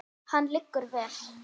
Hann liggur vel.